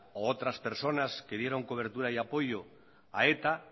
u otras personas que dieron cobertura y apoyo a eta